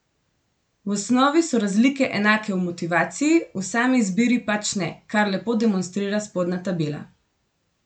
V osnovi so razlike enake v motivaciji, v sami izbiri pač ne, kar lepo demonstrira spodnja tabela.